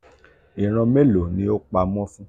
iran melo ni o pa mo fun.”